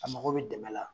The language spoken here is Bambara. A mago bɛ dɛmɛ la